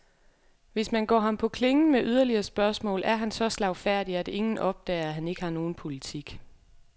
Hvis man går ham på klingen med yderligere spørgsmål, er han så slagfærdig, at ingen opdager, at han ikke har nogen politik.